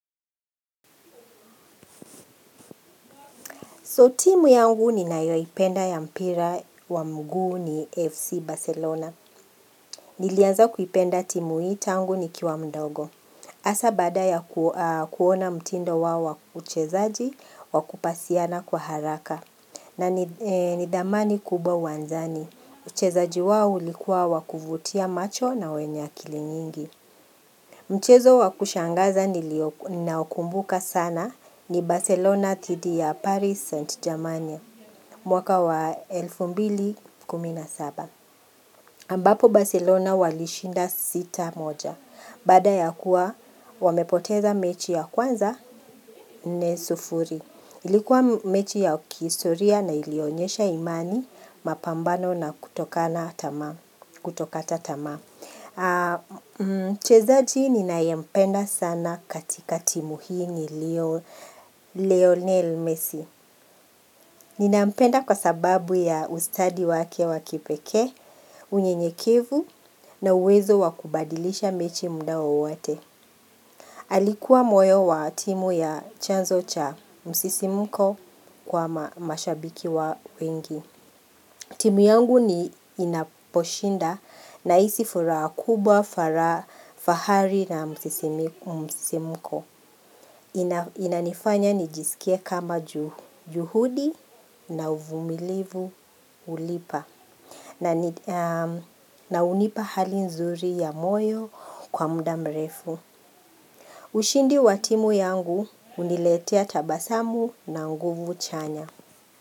So, timu yangu ni nayoipenda ya mpira wa mgu ni FC Barcelona. Nilianza kuipenda timu hii tangu nikiwa mdogo. Hasa baada ya kuona mtindo wao wa uchezaji wakupasiana kwa haraka. Nani dhamani kubwa uwanjani. Uchezaji wao ulikuwa wakuvutia macho na wenye akili nyingi. Mchezo wakushangaza ninaokumbuka sana ni Barcelona tidi ya Paris Saint Germania. Mwaka wa elfu mbili kumi na saba. Ambapo Barcelona walishinda sita moja. Baada ya kuwa, wamepoteza mechi ya kwanza nne sufuri. Ilikuwa mechi ya kihistoria na ilionyesha imani mapambano na kutokata tama. Mchezaji ninaye mpenda sana katika timu hii Lionel Messi. Nina mpenda kwa sababu ya ustadi wake wa kipeke, unyenyekevu na uwezo wakubadilisha mechi mda wowote. Alikuwa moyo wa timu ya chanzo cha msisimko kwa mashabiki wa wengi. Timu yangu ni inaposhinda na hisi furaha kubwa, fara, fahari na msisimko. Inanifanya nijisikie kama juhudi na uvumilivu hulipa na hunipa hali nzuri ya moyo kwa mda mrefu ushindi wa timu yangu huniletea tabasamu na nguvu chanya.